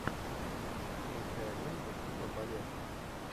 включай ленту типа балета